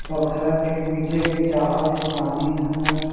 पोखरा के बीचे-बीचआवत हें पानी ह--